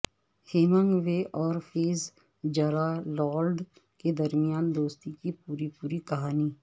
hemming وے اور Fitzgerald کے درمیان دوستی کی پوری پوری کہانی